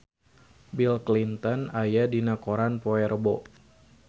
Bill Clinton aya dina koran poe Rebo